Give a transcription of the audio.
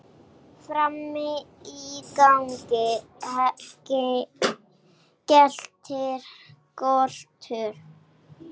Frammi í gangi geltir Kolur.